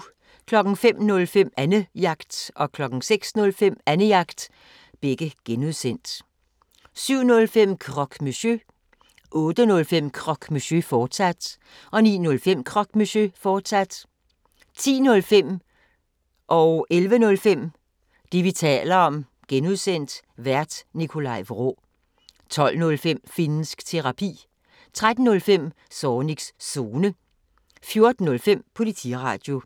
05:05: Annejagt (G) 06:05: Annejagt (G) 07:05: Croque Monsieur 08:05: Croque Monsieur, fortsat 09:05: Croque Monsieur, fortsat 10:05: Det, vi taler om (G) Vært: Nikolaj Vraa 11:05: Det, vi taler om (G) Vært: Nikolaj Vraa 12:05: Finnsk Terapi 13:05: Zornigs Zone 14:05: Politiradio